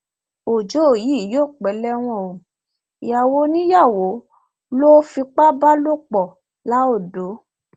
ọjọ yìí yóò pẹ lẹwọn o ìyàwó oníyàwó ló fipá bá lò pọ laodò